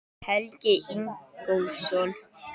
Helgi Ingólfsson.